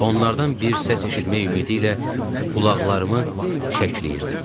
Onlardan bir səs eşitmək ümidi ilə qulaqlarımı şəkləyirdim.